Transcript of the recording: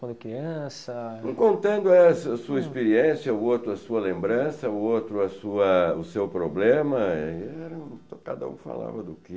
Quando criança... Contando, essa a sua experiência, o outro a sua lembrança, o outro a sua... o seu problema, cada um falava do que...